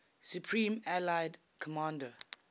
supreme allied commander